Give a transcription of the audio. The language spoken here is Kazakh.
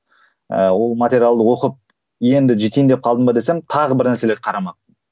ыыы ол материалды оқып енді жетейін деп қалдым ба десем тағы бір нәрселерді қарамаппын